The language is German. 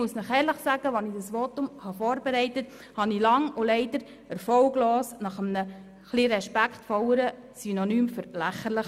Als ich dieses Votum vorbereitet habe, suchte ich lange und leider erfolglos nach einem etwas respektvolleren Synonym für «lächerlich».